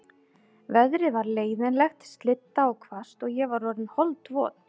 Veðrið var leiðinlegt, slydda og hvasst og ég var orðin holdvot.